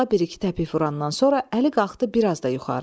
Budağa bir-iki təpik vurandan sonra Əli qalxdı bir az da yuxarı.